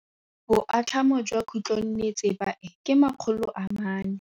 Boatlhamô jwa khutlonnetsepa e, ke 400.